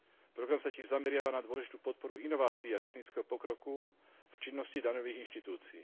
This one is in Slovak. Program sa tiež zameriava na dôležitú podporu inovácií a technického pokroku v činnosti daňových inštitúcií.